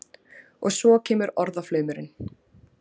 Og svo kemur orðaflaumurinn.